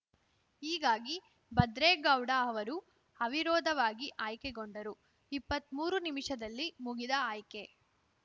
ಹೀಗಾಗಿ ಭದ್ರೇಗೌಡ ಅವರು ಅವಿರೋಧವಾಗಿ ಆಯ್ಕೆಗೊಂಡರು ಇಪ್ಪತ್ಮೂರು ನಿಮಿಷದಲ್ಲಿ ಮುಗಿದ ಆಯ್ಕೆ